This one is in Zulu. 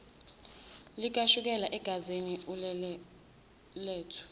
likashukela egazini ulelethu